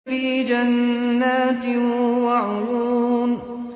فِي جَنَّاتٍ وَعُيُونٍ